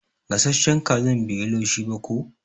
Gasashen kazan bai yi laushi ba ko.